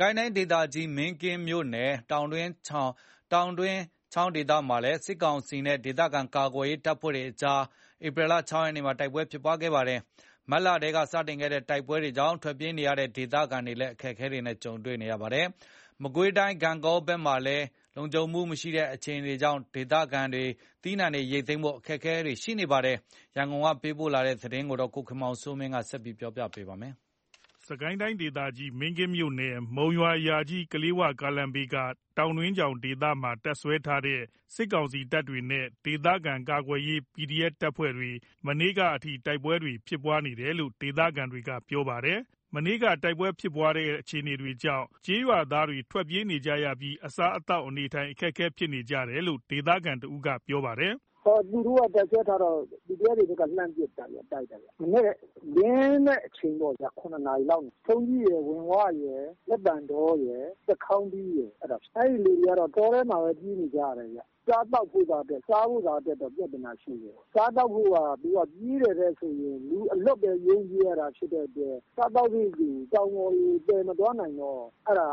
ကိုင်းတိုင်းဒေသကြီး မင်းကင်းမြို့နယ် တောင်တွင်းချောင်ဒေသမှာ စစ်ကောင်စီနဲ့ ဒေသခံကာကွယ်ရေး တပ်ဖွဲ့တို့ကြား ဒီနေ့ ဧပြီ ၆ ရက်နေ့မှာလည်း တိုက်ပွဲတွေဖြစ်ခဲ့ပါတယ်။ မတ်လထဲက စတင်တဲ့တိုက်ပွဲတွေကြောင့် ထွက်ပြေးနေကြရတဲ့ ဒေသခံတွေ ဒုက္ခရောက်နေကြပါတယ်။ မကွေးတိုင်း ဂန့်ဂေါဘက်မှာလည်း မလုံခြုံတဲ့အခြေအနေကြောင့် ဒေသခံတွေ သီးနှံတွေ ရိတ်သိမ်းဖို့ အခက်တွေ့နေပါတယ်။ ရန်ကုန်ကပေးပို့လာတဲ့သတင်းကို ကိုခင်မောင်စိုးမင်း ကပြောပြပါမယ်။ စစ်ကိုင်းတိုင်းဒေသကြီး မင်းကင်းမြို့နယ် မုံရွာ-ယာကြီး-ကလေး၀ ကားလမ်းဘေးက တောင်တွင်းချောင်ဒေသမှာ တပ်စွဲထားတဲ့ စစ်ကောင်စီတပ်တွေနဲ့ ဒေသခံကာကွယ်ရေးတပ်ဖွဲ့တွေ ဒီနေ့အထိ တိုက်ပွဲတွေ ဆက်ရှိနေတယ်လို့ ဒေသခံတွေကပြောပါတယ်။ ဒီနေ့မနက်ပိုင်းက တိုက်ပွဲဖြစ်တဲ့ အခြေအနေကို ဒေသခံတယောက်က ခုလိုပြောပြပါတယ်။ တိုက်ပွဲကြောင့် ဒေသခံတွေ ထွက်ပြေးနေရပြီး အစားအသောက် အခက်အခဲဖြစ်နေတယ်လို့ ဒေသခံတဦးက ပြောပါတယ်။ “သူတို့က တပ်စွဲထားတော့ PDF တွေဘက်က လှမ်းပစ်တာ။ တိုက်တာဗျ။ မနက်လင်းလင်းတဲ့အချိန် ၇ နာရီလောက်။ ထုံးကြီးရယ် ဝင်ဝရယ် လက်ပံတောရယ် သစ်ခေါင်းတီးရယ် အဲ့မှာဖြစ်နေတာ။ အဲ့ဒီကလူတွေကတော့ တောထဲမှာပဲ ပြေးနေကြရတယ်ဗျ။ စားသောက်ဖို့ စားဖို့ရာအတွက်တော့ ပြဿနာရှိတယ်။ စားသောက်ဖို့ရာ သူတို့ကပြေးတဲ့အချိန် လူအလွတ်ပဲ ရုန်းပြေးရတာ ဖြစ်တဲ့အတွက် အစားအသောက်တွေကို တောင်ပေါ်တွေကို သယ်မသွားနိုင်တော့ အဲ့ဒါ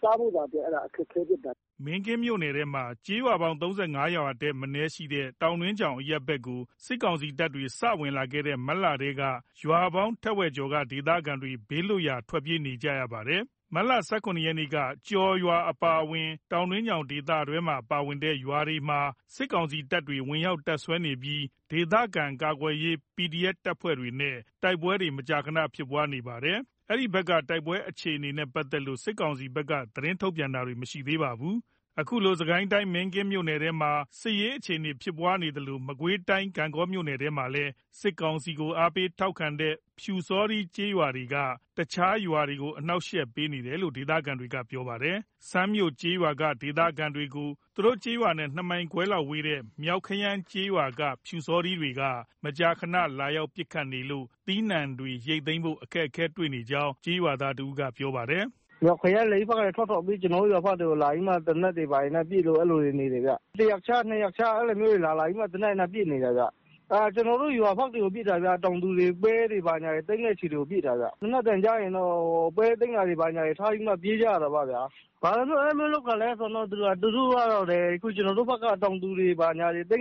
စားဖို့ရာအတွက် အခက်အခဲဖြစ်နေတာ။” မင်းကင်းမြို့နယ်ထဲက ရွာပေါင်း ၃၅ ရွာထက်မနည်းရှိတဲ့ တောင်တွင်းချောင်အရပ်ဘက်ကို စစ်ကောင်စီတပ်တွေ စဝင်လာခဲ့တဲ့ မတ်လထဲက ရွာပေါင်းထက်ဝက်ကျော်က ဒေသခံတွေ ဘေးလွတ်ရာ ထွက်ပြေးနေကြရတာပါ။ မတ် ၁၇ ရက်ကတည်းက ကျော်ကျေးရွာအပါအဝင် တောင်တွင်းချောင်ဒေသထဲမှာပါတဲ့ ကျေးရွာတွေမှာ စစ်ကောင်စီ တပ်တွေ ဝင်ရောက်တပ်စွဲနေပြီး ဒေသခံကာကွယ်ရေးတပ်ဖွဲ့တွေနဲ့ တိုက်ပွဲတွေ မကြာခဏဖြစ်ပွားနေပါတယ်။ အဲ့ဒီဘက်က တိုက်ပွဲအခြေအနေနဲ့ ပတ်သက်လို့ စစ်ကောင်စီဘက်က သတင်းထုတ်ပြန်တာတွေ မရှိသေးပါဘူး။ စစ်ကိုင်းတိုင်း မင်းကင်းမြို့နယ်ထဲမှာ ခုလိုစစ်ရေးအခြေအနေဖြစ်နေသလို မကွေးတိုင်း ဂန့်ဂေါခရိုင်ထဲမှာလဲ စစ်ကောင်စီကို အားပေးထောက်ခံတဲ့ ပျူစောထီးရွာတွေက တခြားရွာတွေကို အနှောင့်အယှက်ပေးနေတယ်လို့ ဒေသခံတွေက ပြောပါတယ်။ စန်းမြို့ကျေးရွာက ဒေသခံတွေကို သူတို့ကျေးရွာနဲ့ ၂ မိုင်ခွဲလောက်ဝေးတဲ့ မြောက်ခရမ်းကျေးရွာက ပျူစောထီးတွေက မကြာမကြာ လာရောက်ပစ်ခတ်နေလို့ သီးနှံတွေ ရိတ်သိမ်းဖို့ အခက်တွေ့နေတဲ့အကြောင်း ကျေးရွာသားတဦးက ပြောပါတယ်။ “မြောက်ခရမ်းဘက်ကနေ ထွက်ထွက်ပြီး ကျွန်တော်တို့ရွာတွေဘက်ကို သေနတ်တွေနဲ့ပစ်တယ်။ ၁ ရက်ခြား ၂ ရက်ခြား သေနတ်တွေနဲ့ လာလာပြီးပစ်တယ်။ ကျွန်တော်တို့ရွာဘက်တွေကိုပစ်တာ တောင်သူတွေပဲတွေ သိမ်းတဲ့ဆီကို ပစ်တာ။ သေနတ်သံကြားရင် ပဲသိမ်းတာတွေထားပြီး ပြေးကြရတာပေါ့။ ဘာလို့အဲ့လိုလုပ်တာလည်းဆိုရင် ကျွန်တော်တို့ဘက်က တောင်သူတွေ သိမ်းတာတွေ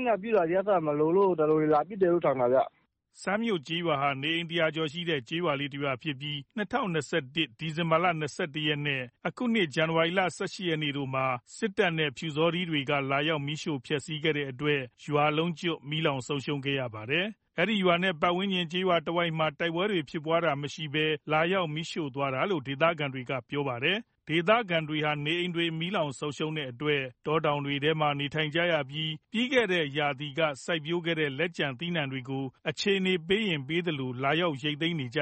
မလိုလို့လာပစ်တယ်လို့တော့ထင်တယ်။” စန်းမြို့ကျေးရွာဟာ နေအိမ် ၁၀၀ ကျော်သာရှိတဲ့ ကျေးရွာလေး တရွာဖြစ်ပြီး ၂၀၂၁ ဒီဇင်ဘာ ၂၁ ရက်နဲ့ အခုနှစ် ဇန်နဝါရီ ၁၈ ရက်တို့မှာ စစ်တပ်နဲ့ ပျုစောတီးတွေက လာရောက်မီးရှို့ဖျက်စီးခဲ့တဲ့အတွက် ရွာလုံးကျွတ် မီးလောင်ဆုံးရှုံးခဲ့ရပါတယ်။ အဲဒီရွာနဲ့ ပါတ်ဝန်းကျင်တဝိုက်မှာ တိုက်ပွဲဖြစ်ပွားတာ မရှိဘဲ လာရောက် မီးရှို့သွားတယ်လို့ ဒေသခံတွေက ပြောပါတယ်။ ဒေသခံတွေဟာ နေအိမ်တွေမီးလောင်ဆုံးရှုံးခဲ့တဲ့အတွက် တောတောင်တွေထဲမှာ နေထိုင်နေရပြီး ပြီးခဲ့တဲ့ ရာသီက စိုက်ပျိုးခဲ့တဲ့ လက်ကျန် သီးနှံတွေကို အခြေအနေပေးရင် ရိတ်သိမ်းနေကြ